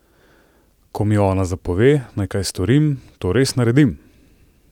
Ko mi Ona zapove, naj kaj storim, to res naredim!